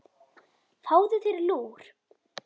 Fáðu þér lúr.